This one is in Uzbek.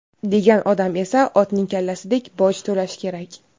degan odam esa "otning kallasidek" boj to‘lashi kerak.